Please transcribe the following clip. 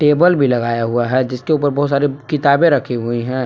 Table भी लगाया हुआ है जिसके ऊपर बहुत सारी किताबें भी राखी हुई हैं।